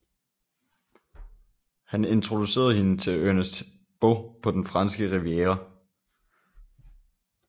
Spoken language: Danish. Han introducerede hende til Ernest Beaux på den franske riviera